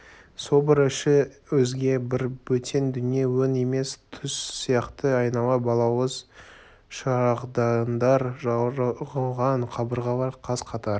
собор іші өзге бір бөтен дүние өң емес түс сияқты айнала балауыз шырағдандар жағылған қабырғалар қаз-қатар